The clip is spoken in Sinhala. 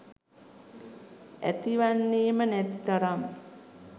ඇතිවන්නේම නැතිතරම්